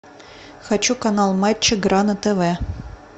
хочу канал матч игра на тв